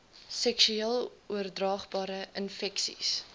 seksueel oordraagbare infeksies